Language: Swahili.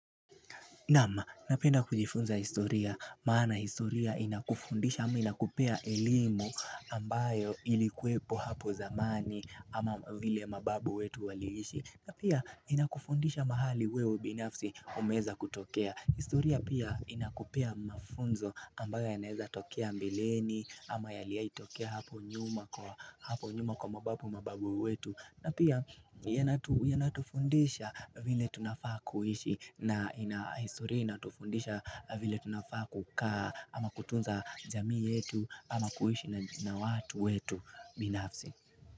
Naam napenda kujifunza historia maana historia inakufundisha hama inakupea elimu ambayo ilikuepo hapo zamani ama vile mababu wetu waliishi na pia inakufundisha mahali wewe binafsi umeeza kutokea historia pia inakupea mafunzo ambayo yanaeza tokea mbeleni ama yaliaitokea hapo nyuma kwa mababu wetu na pia yanatufundisha vile tunafaa kuishi na historia inatufundisha vile tunafaa kukaa ama kutunza jamii yetu ama kuhishi na watu wetu binafsi.